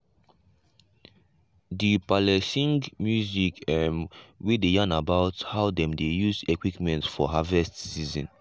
the pa-le sing music um wey dey yarn about how dem dey use equipment for harvest season.